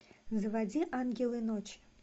заводи ангелы ночи